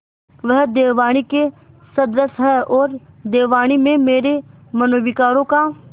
वह देववाणी के सदृश हैऔर देववाणी में मेरे मनोविकारों का